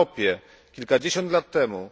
W Europie kilkadziesiąt lat temu